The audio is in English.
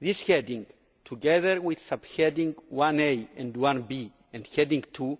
This heading, together with subheading 1a and 1b and heading 2,